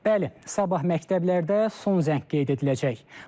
Bəli, sabah məktəblərdə son zəng qeyd ediləcək.